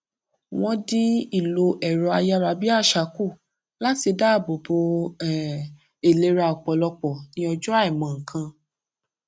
wọn dín ìlò ẹrọ ayárabíàṣá kù láti daabò bo um ìlera ọpọlọ ní ọjọ àìmọkan